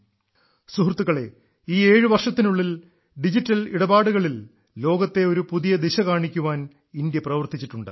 സുഹൃത്തുക്കളെ ഈ ഏഴു വർഷത്തിനുള്ളിൽ ഡിജിറ്റൽ ഇടപാടുകളിൽ ലോകത്തെ ഒരു പുതിയ ദിശ കാണിക്കാൻ ഇന്ത്യ പ്രവർത്തിച്ചിട്ടുണ്ട്